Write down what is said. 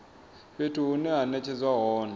fhethu hune ha netshedzwa hone